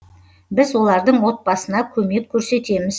біз олардың отбасына көмек көрсетеміз